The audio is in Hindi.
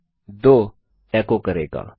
यह 2 एको करेगा